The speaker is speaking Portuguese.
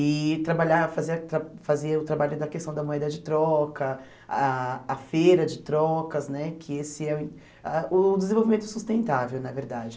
e trabalhar fazer tra fazer o trabalho da questão da moeda de troca, ah a feira de trocas né, que esse é o ah o desenvolvimento sustentável, na verdade.